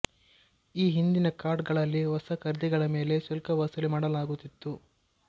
ಈ ಹಿಂದಿನ ಕಾರ್ಡ್ ಗಳಲ್ಲಿ ಹೊಸ ಖರೀದಿಗಳ ಮೇಲೆ ಶುಲ್ಕ ವಸೂಲಿ ಮಾಡಲಾಗುತಿತ್ತು